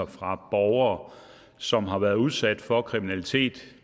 fra borgere som har været udsat for kriminalitet